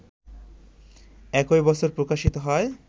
একই বছর প্রকাশিত হয়